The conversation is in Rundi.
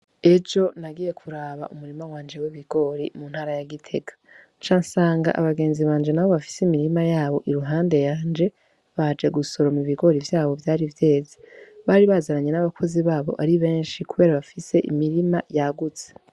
Ejo nagiye kuraba umurima wanje w'ibigori uri mu ntara ya Gitega nca nsanga abagenzi banje nabo bafise imirima yabo iruhpande yanje, baje gusoroma ibigori vyabo vyari vyeze. Bari bazananye n'abakozi babo ari benshi kubera bafise imirima yagutse.